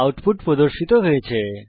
output পর্দায় প্রদর্শিত হয়েছে